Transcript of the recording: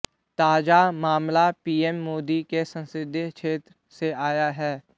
ताजा मामला पीएम मोदी के संसदीय क्षेत्र से आया है